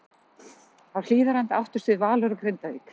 Á Hlíðarenda áttust við Valur og Grindavík.